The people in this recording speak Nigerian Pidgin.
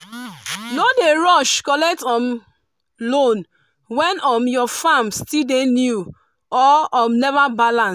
no dey rush collect um loan when um your farm still dey new or um never balance.